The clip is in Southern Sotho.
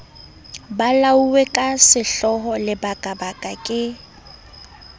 bolauwe ka sehloho lebakabaka ke